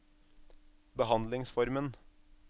behandlingsformen